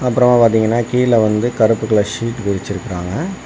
அப்புறமா பார்த்தீங்கன்னா கீழே வந்து கருப்பு கலர் ஷீட் விரிச்சிருக்காங்க.